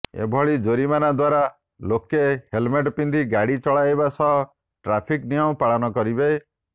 ଏଭଳି ଜୋରିମାନା ଦ୍ବାରା ଲୋକେ ହେଲମେଟ୍ ପିନ୍ଧି ଗାଡି ଚଳାଇବା ସହ ଟ୍ରାଫିକ୍ ନିୟମ ପାଳନ କରିବେ